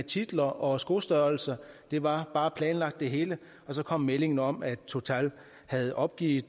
titler og skostørrelse det var bare planlagt det hele og så kom meldingen om at total havde opgivet